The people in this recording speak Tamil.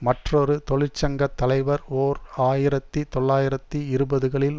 மற்றொரு தொழிற்சங்க தலைவர் ஓர் ஆயிரத்தி தொள்ளாயிரத்தி இருபதுகளில்